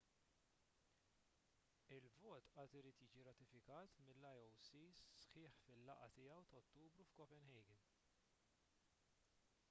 il-vot għad irid jiġi rratifikat mill-ioc sħiħ fil-laqgħa tiegħu ta' ottubru f'copenhagen